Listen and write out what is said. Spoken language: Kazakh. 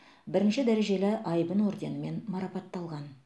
бірінші дәрежелі айбын орденімен марапатталған